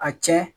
A tiɲɛ